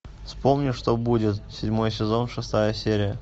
вспомни что будет седьмой сезон шестая серия